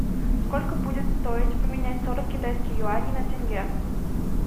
сколько будет стоить поменять сорок китайских юаней на тенге